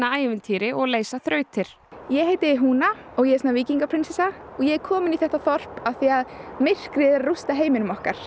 ævintýri og leysa þrautir ég heiti húna og ég er svona og ég er komin í þetta þorp af því að myrkrið er að rústa heiminum okkar